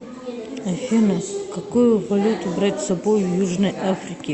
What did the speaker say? афина какую валюту брать с собой в южной африке